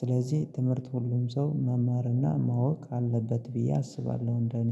ስለዚህ ትምህርት ሁሉም ሰው መማርና ማወቅ አለበት ብዬ አስባለሁ እንደኔ